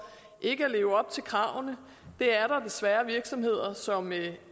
ikke at leve op til kravene det er der desværre virksomheder som